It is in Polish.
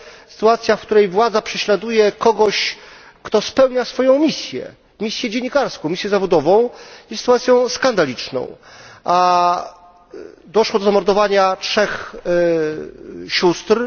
sytuacja, w której władza prześladuje kogoś, kto spełnia swoją misję, misję dziennikarską, misję zawodową, jest sytuacją skandaliczną, a doszło do zamordowania trzech sióstr.